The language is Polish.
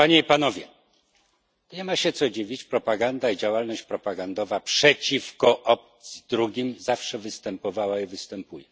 Nie ma się co dziwić propaganda i działalność propagandowa przeciwko obcym, drugim zawsze występowała i występuje.